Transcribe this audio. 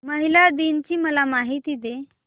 महिला दिन ची मला माहिती दे